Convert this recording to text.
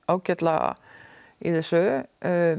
ágætlega í þessu